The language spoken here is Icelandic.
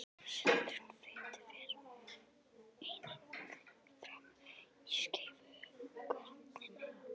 Sundrun fitu fer einnig fram í skeifugörninni.